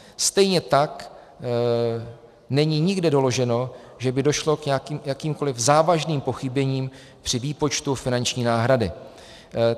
Stejně tak není nikde doloženo, že by došlo k jakýmkoliv závažným pochybením při výpočtu finanční náhrady.